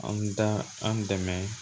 An da an dɛmɛ